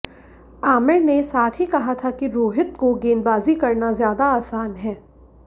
आमिर ने साथ ही कहा था कि रोहित को गेंदबाजी करना ज्यादा आसान है